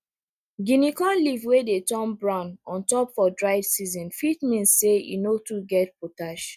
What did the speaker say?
guinea corn leaf wey dey turn brown ontop for dry season fit mean say e no too get potash